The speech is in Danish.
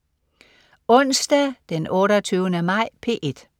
Onsdag den 28. maj - P1: